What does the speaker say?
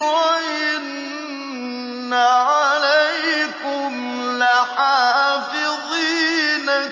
وَإِنَّ عَلَيْكُمْ لَحَافِظِينَ